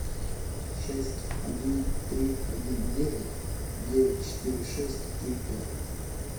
шесть один три один девять девять четыре шесть три пять